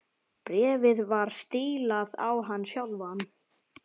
Bréfið var stílað á hann sjálfan.